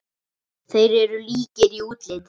Þeir eru líkir í útliti.